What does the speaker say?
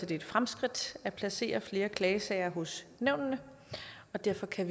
det er et fremskridt at placere flere klagesager i nævnene derfor kan